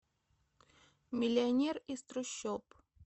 миллионер из трущоб